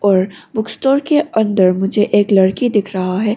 और book store के अंदर मुझे एक लड़की दिख रहा है।